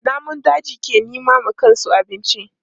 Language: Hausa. Namun daji ke nema wa kansu abinci.